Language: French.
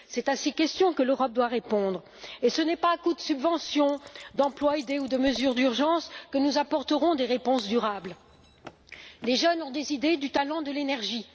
C'est à ces questions que l'Europe doit répondre, et ce n'est pas à coups de subventions, d'emplois aidés ou de mesures d'urgence que nous apporterons des réponses durables. Les jeunes ont des idées, du talent, de l'énergie.